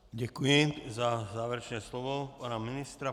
Děkuji za závěrečné slovo pana ministra.